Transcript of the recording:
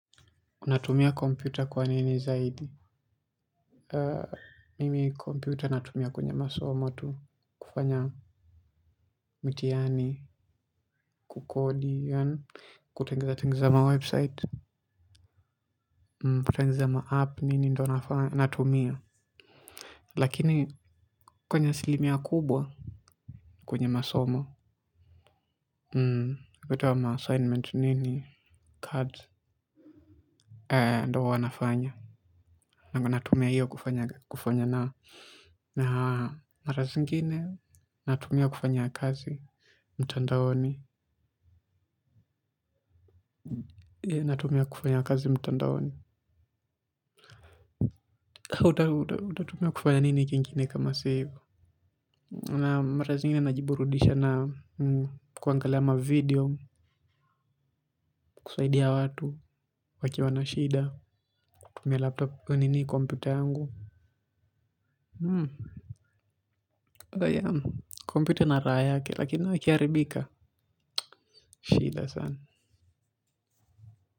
Unatumia kompyuta kwa nini zaidi? Mimi kompyuta natumia kwenye masomo tu kufanya mitihani kukodi, kutengezatengeza mawebsite, kutengeza maapp, nini ndo nafanya, natumia. Lakini kwenye asilimia kubwa kwenye masomo, kutoa maassignment nini, cats, ndo wanafanya. Natumia hiyo kufanya na mara zingine natumia kufanya kazi mtandaoni natumia kufanya kazi mtandaoni. Utatumia kufanya nini kingine kama si hivo na mara zingine najiburudisha na kuangalia mavideo kusaidia watu wakiwa na shida kutumia laptop nini kompyuta yangu kompyuta ina raha lakini ikiharibika shida sana.